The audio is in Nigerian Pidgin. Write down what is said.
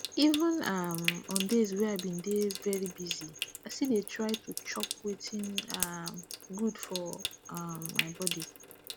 even um on days wey i been dey very busy i still dey try to chop wetin um good for um my body